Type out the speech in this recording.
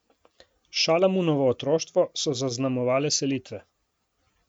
Šalamunovo otroštvo so zaznamovale selitve.